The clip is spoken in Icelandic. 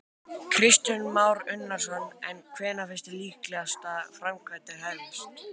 Kristján Már Unnarsson: En hvenær finnst þér líklegt að framkvæmdir hefjist?